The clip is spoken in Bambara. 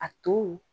A to